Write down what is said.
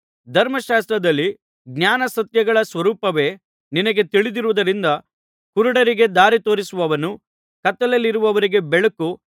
ಧರ್ಮಶಾಸ್ತ್ರದಲ್ಲಿ ಜ್ಞಾನಸತ್ಯಗಳ ಸ್ವರೂಪವೇ ನಿನಗೆ ತಿಳಿದಿರುವುದರಿಂದ ಕುರುಡರಿಗೆ ದಾರಿತೋರಿಸುವವನೂ ಕತ್ತಲೆಯಲ್ಲಿರುವವರಿಗೆ ಬೆಳಕೂ